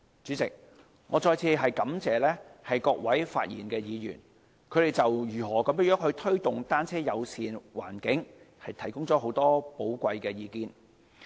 主席，我再次感謝各位發言的議員，他們就如何推動單車友善環境提供了許多寶貴的意見。